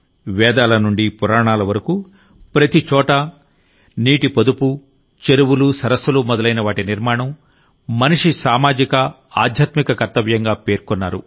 వేదాల నుండి పురాణాల వరకుప్రతిచోటా నీటి పొదుపుచెరువులు సరస్సులు మొదలైన వాటి నిర్మాణం మనిషి సామాజిక ఆధ్యాత్మిక కర్తవ్యంగా పేర్కొన్నారు